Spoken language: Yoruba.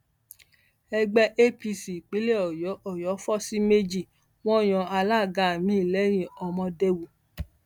ẹgbẹ apc ìpínlẹ ọyọ ọyọ fọ sí méjì wọn yan alága miín lẹyìn ọmọdéwu